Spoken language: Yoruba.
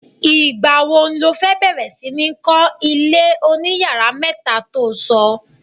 Ìgbà wo lo fẹ́ bẹ̀rẹ̀ sí ní kọ́, ilé oniyàrá mẹ́ta to sọ?